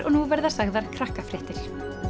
og nú verða sagðar Krakkafréttir